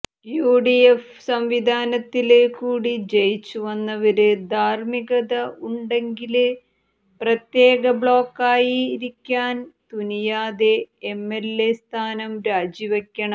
UDF സംവിധാനത്തില് കൂടി ജയിച്ചു വന്നവര് ധാര്മികത ഉണ്ടെങ്കില് പ്രത്യേക ബ്ലോക്കായി ഇരിക്കാന് തുനിയാതെ എംഎല്എ സ്ഥാനം രാജിവയ്ക്കണം